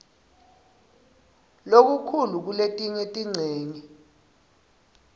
lokukhulu kuletinye tincenye